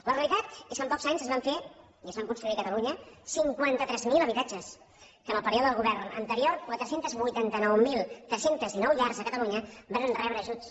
la realitat és que en pocs anys es van fer i es van construir a catalunya cinquanta tres mil habitatges que en el període del govern anterior quatre cents i vuitanta nou mil tres cents i dinou llars a catalunya varen rebre ajuts